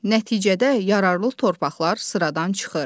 Nəticədə yararlı torpaqlar sıradan çıxır.